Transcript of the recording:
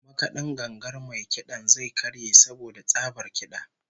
Makad'in gangar mai kid'an zai karye saboda tsabar kid'a